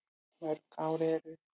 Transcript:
Mörg ár eru